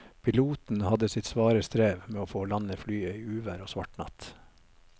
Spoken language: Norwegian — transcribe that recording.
Piloten hadde sitt svare strev med å få landet flyet i uvær og svart natt.